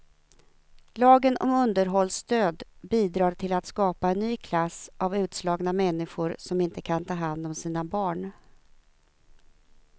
Lagen om underhållsstöd bidrar till att skapa en ny klass av utslagna människor som inte kan ta hand om sina barn.